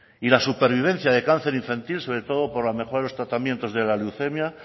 y la supervivencia de cáncer infantil sobre todo por la mejora en los tratamientos de la leucemia